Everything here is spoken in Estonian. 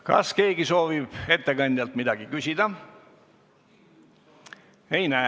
Kas keegi soovib ettekandjalt midagi küsida?